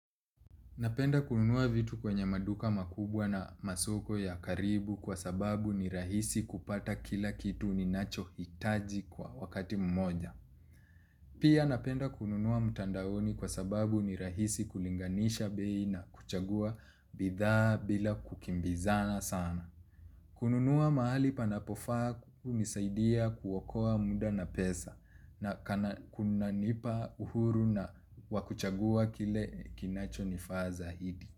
Napenda kununua vitu kwenye maduka makubwa na masoko ya karibu kwa sababu ni rahisi kupata kila kitu ni nacho hitaji kwa wakati mmoja. Pia napenda kununua mtandaoni kwa sababu ni rahisi kulinganisha bei na kuchagua bidhaa bila kukimbizana sana. Kununua mahali panapofaa hunisaidia kuwokoa muda na pesa na kuna nipa uhuru na, wakuchagua kile kinacho nifaa zahidi.